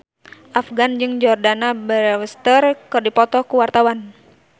Afgan jeung Jordana Brewster keur dipoto ku wartawan